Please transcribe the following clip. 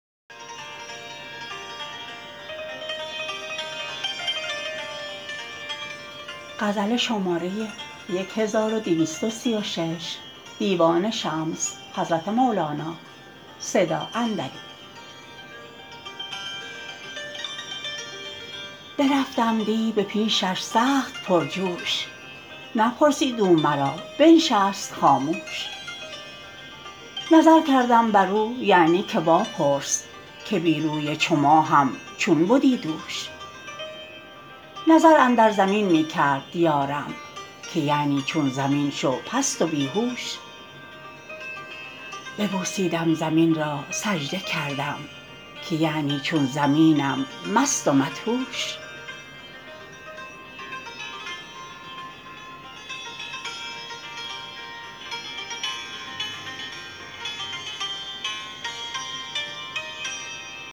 برفتم دی به پیشش سخت پرجوش نپرسید او مرا بنشست خاموش نظر کردم بر او یعنی که واپرس که بی روی چو ماهم چون بدی دوش نظر اندر زمین می کرد یارم که یعنی چون زمین شو پست و بی هوش ببوسیدم زمین را سجده کردم که یعنی چون زمینم مست و مدهوش